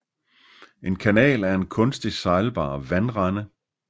En kanal er en kunstig sejlbar vandrende